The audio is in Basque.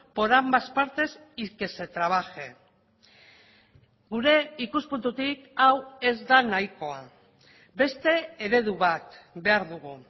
por ambas partes y que se trabaje gure ikuspuntutik hau ez da nahikoa beste eredu bat behar dugu